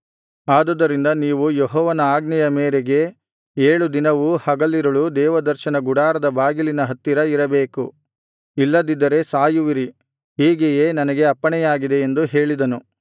ಆದುದರಿಂದ ನೀವು ಯೆಹೋವನ ಆಜ್ಞೆಯ ಮೇರೆಗೆ ಏಳು ದಿನವೂ ಹಗಲಿರುಳು ದೇವದರ್ಶನ ಗುಡಾರದ ಬಾಗಿಲಿನ ಹತ್ತಿರ ಇರಬೇಕು ಇಲ್ಲದಿದ್ದರೆ ಸಾಯುವಿರಿ ಹೀಗೆಯೇ ನನಗೆ ಅಪ್ಪಣೆಯಾಗಿದೆ ಎಂದು ಹೇಳಿದನು